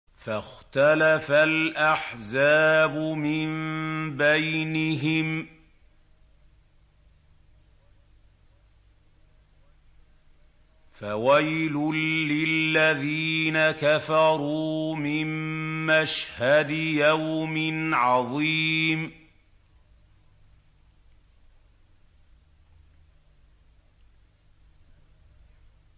فَاخْتَلَفَ الْأَحْزَابُ مِن بَيْنِهِمْ ۖ فَوَيْلٌ لِّلَّذِينَ كَفَرُوا مِن مَّشْهَدِ يَوْمٍ عَظِيمٍ